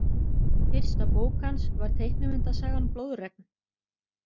Fyrsta bók hans var teiknimyndasagan Blóðregn.